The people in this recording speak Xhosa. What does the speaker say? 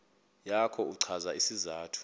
yakho uchaze isizathu